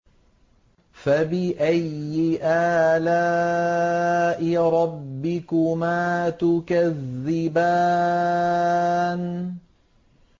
فَبِأَيِّ آلَاءِ رَبِّكُمَا تُكَذِّبَانِ